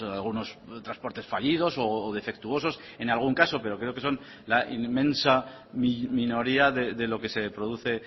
algunos transportes fallidos o defectuosos en algún caso pero creo que son la inmensa minoría de lo que se produce